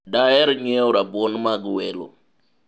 daher nyiewo rabuon mag welo